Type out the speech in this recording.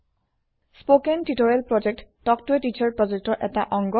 spoken tutorial প্ৰকল্প talk to a teacher প্ৰকল্পৰ এটা অংগ